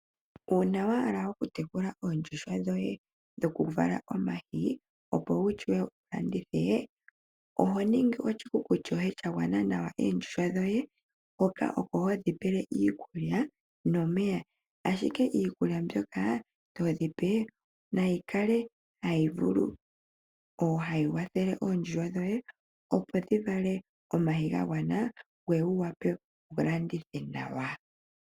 Uuna wa hala okutekula oondjuhwa dhoye dhoku vala omayi opo wushiwe wulandithe oho ningi oshikuku shoye shagwana nawa oondjuhwa dhoye hoka oko hodhi pele iikulya nomeya. Ashike iikulya mbyoka todhi pe nayi kale hayi vulu nenge hayi wathele oondjuhwa dhoye opo dhi vale omayi ga gwana ngoye wu wape wulandithe nawa.